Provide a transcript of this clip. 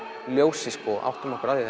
ljósi og áttum okkur á því